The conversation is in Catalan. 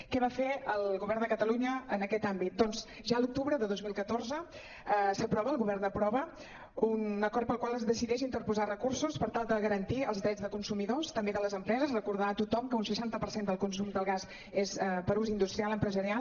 què va fer el govern de catalunya en aquest àmbit doncs ja l’octubre de dos mil catorze s’aprova el govern aprova un acord pel qual es decideix interposar recursos per tal de garantir els drets de consumidors també de les empreses recordar a tothom que un seixanta per cent del consum del gas és per a ús industrial empresarial